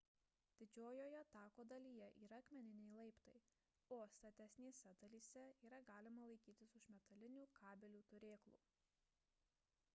didžiojoje tako dalyje yra akmeniniai laiptai o statesnėse dalyse yra galima laikytis už metalinių kabelių turėklų